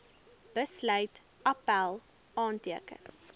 besluit appèl aanteken